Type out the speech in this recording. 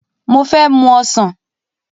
Mo fẹ́ mu ọsàn